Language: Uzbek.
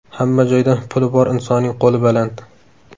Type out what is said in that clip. Hamma joyda puli bor insonning qo‘li baland.